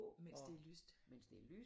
Mens det er lyst